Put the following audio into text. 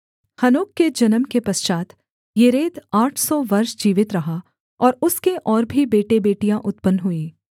हनोक के जन्म के पश्चात् येरेद आठ सौ वर्ष जीवित रहा और उसके और भी बेटेबेटियाँ उत्पन्न हुईं